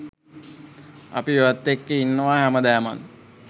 අපි ඔයත් එක්ක ඉන්නවා හැමදාමත්.